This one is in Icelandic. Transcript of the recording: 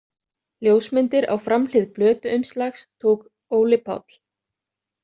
Ljósmyndir á framhlið plötuumslags tók Óli Páll.